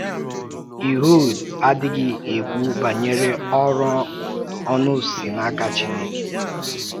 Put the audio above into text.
Ịhud adịghị ekwú banyere òrụ ọnụ si n’aka Chineke.